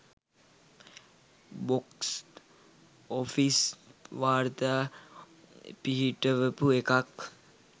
Box office වාර්තා පිහිටවපු එකක්.